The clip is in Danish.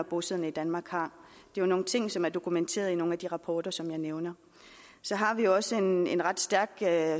bosiddende i danmark har det er nogle ting som er dokumenteret i nogle af de rapporter som jeg nævnte og så har vi også en en ret stærk